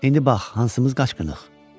İndi bax hansımız qaçqınıq?